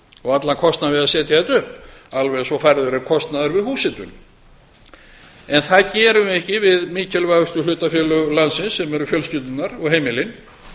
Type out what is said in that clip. og allan kostnað við að setja þetta upp alveg eins og færður er kostnaður við húshitun en það gerum við ekki við mikilvægustu hlutafélög landsins sem eru fjölskyldurnar og heimilin